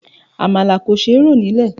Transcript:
Àmàlà kò ṣe rò nílè.